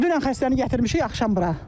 Dünən xəstəni gətirmişik axşam bura.